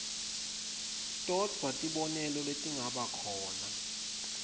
todvwa tibonelo letingabakhona